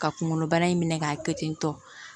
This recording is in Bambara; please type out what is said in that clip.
Ka kunkolo bana in minɛ k'a kɛ ten tɔ